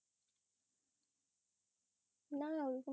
না ওরকম